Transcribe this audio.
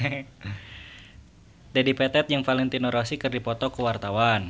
Dedi Petet jeung Valentino Rossi keur dipoto ku wartawan